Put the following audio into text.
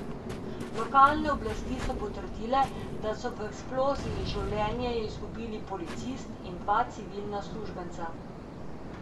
Lokalne oblasti so potrdile, da so v eksploziji življenje izgubili policist in dva civilna uslužbenca.